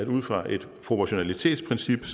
ud fra et proportionalitetsprincip